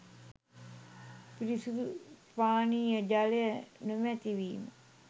පිරිසිදු පානීය ජලය නොමැතිවීම